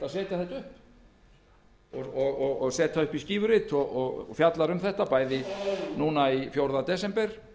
málið á blað setja það upp í skífurit og fjallaði um það bæði í gær fjórða desember